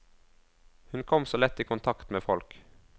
Hun kom så lett i kontakt med folk.